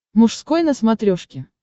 мужской на смотрешке